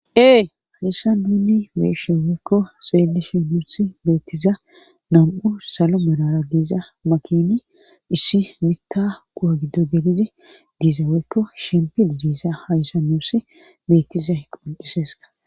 Ee hayssa dunni weeshe weyekko sxelishi muussi beettiza nam'u salo melara giiza makini issi mikka kuwa giddo delizi diiza weykko shempid diisa hayssa nussi beettiza hequniseska.